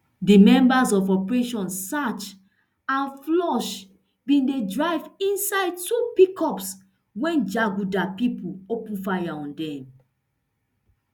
di members of operation search and flush bin dey drive inside two pickups wen jaguda pipo open fire on dem